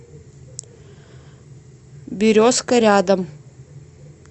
березка рядом